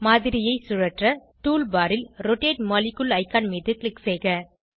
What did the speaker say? மாதிரியை சுழற்ற tool bar ல் ரோட்டேட் மாலிக்யூல் ஐகான் மீது க்ளிக் செய்க